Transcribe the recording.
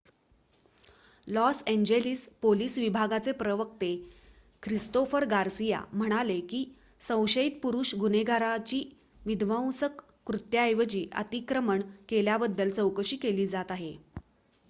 loss Angeles police विभागाचे प्रवक्ते Christopher Garcia म्हणाले की संशयित पुरुष गुन्हेगाराची विध्वंसक कृत्याऐवजी अतिक्रमण केल्याबद्दल चौकशी केली जात आहे